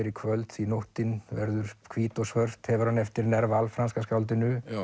í kvöld því nóttin verður hvít og svört hefur hann eftir franska skáldinu